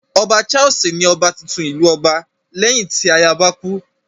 Ọba Charles ni ọba titun tí ìlú ọba, léyìn tí ayaba kú.